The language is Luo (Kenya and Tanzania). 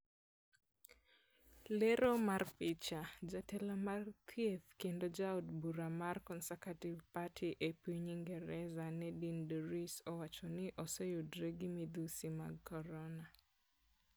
Lero mar picha, Jatelo mar Thieth kendo Ja Od Bura mar Conservative Party e piny Ingresa Nadine Dorries owacho ni oseyudore gi midhusi mag korona .